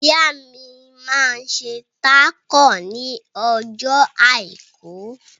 Ìyá mi máa ń ṣe tákò ní ọjọ́ àìkú.